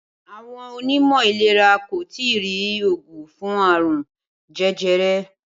Awo̩n onímò̩ ìlera kò ì tí ì rí oògun fũn àrùn je̩jere̩